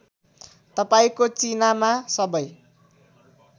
तपाईँको चिनामा सबै